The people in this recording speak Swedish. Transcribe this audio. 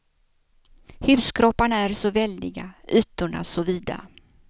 Huskropparna är så väldiga, ytorna så vida.